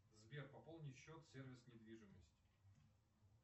сбер пополни счет сервис недвижимость